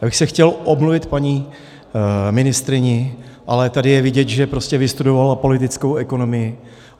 Já bych se chtěl omluvit paní ministryni, ale tady je vidět, že prostě vystudovala politickou ekonomii.